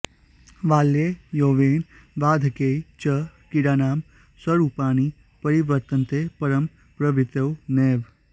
बाल्ये यौवने वार्धक्ये च क्रीडानां स्वरूपाणि परिवर्तन्ते परं प्रवृत्तयो नैव